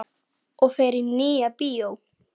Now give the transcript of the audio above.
Og fer í Nýja bíó!